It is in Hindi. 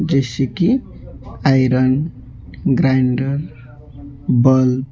जैसे की आयरन ग्राइंडर बल्ब ।